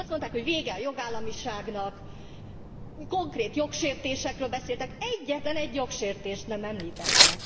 Azt mondták, hogy vége a jogállamiságnak, konkrét jogsértésekről beszéltek, de egyetlen egy jogsértést sem említettek.